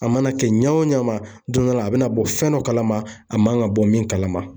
A mana kɛ ɲɛ o ɲɛ ma don dɔ la a bɛna bɔ fɛn dɔ kalama a man ka bɔ min kalama.